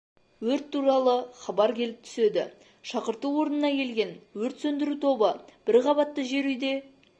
өрт туралы хабар келіп түседі шақырту орнына келген өрт сөндіру тобы бір қабатты жер үйде